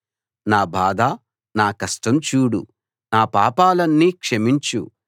నా బాధ నా కష్టం చూడు నా పాపాలన్నీ క్షమించు